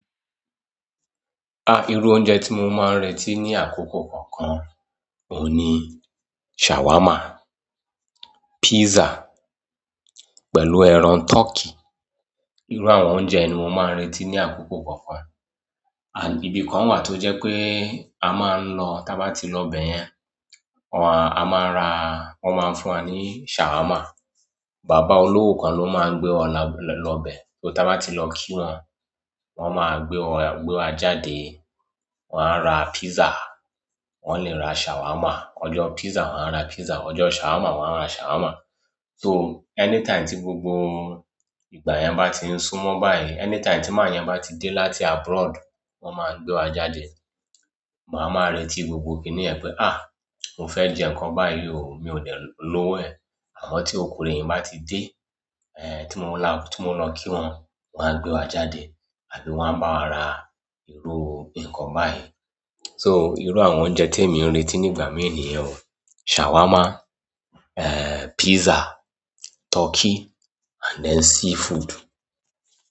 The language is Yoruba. Ah! Iru oúnjẹ ti mo maa n retí ní àkókò kọ̀ọ̀kan, òun ni shawarma, pizza pẹ̀lú ẹran turkey. Irú àwọn oúnjẹ ni mo maa n retí ní àkókò kọ̀ọ̀kan. Àbí ibi kan wà tó jẹ pé a maa n lọ, tá bá ti lọ bẹyẹn, wàá, a maa ra, won maa fún wa ní shawarma. Bàbá olówó kan ló maa gbé wa lọ lọ bẹ. So tá bá ti lọ kí wón, wón máa gbé wa, gbé wa jáde. Won a ra pizza, wón le ra shawarma. Ọjọ́ pizza wón a ra pizza, ọjọ́ shawarma wón a ra shawarma. So anytime tí gbogbo ìgbà yẹn bá ti sún mọ́ báyìí, anytime tí màá yẹn bá ti dé láti abroad, wón maa gbé wa jáde. Màá máa retí gbogbo kín níyẹn pé "àh! Mo fẹ́ jẹ nǹkan báyìí ò, mi ò de lówó ẹ". Àmọ́ tí ọkùnrin yi bá ti dé, eh tí mo lọ kí wón, wón á gbé wa jáde àbí wón á bá wa ra irú nǹkan báyìí. So irú àwọn oúnjẹ tí èmi n retí nígbà mì niyẹn ò. Shawarma, eh pizza, turkey and then seafood.